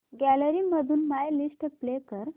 gallery मधून my list play कर